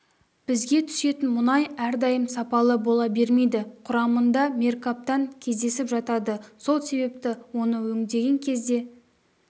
бізге түсетін мұнай әрдайым сапалы бола бермейді құрамында меркаптан кездесіп жатады сол себепті оны өңдеген кезде